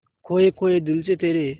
खोए खोए दिल से तेरे